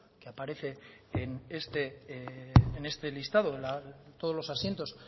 que aparece en este listado todos los asientos